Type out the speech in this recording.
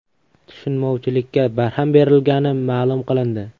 Tushunmovchilikka barham berilgani ma’lum qilindi.